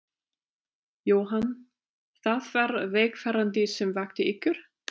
Jóhann: Það var vegfarandi sem vakti ykkur?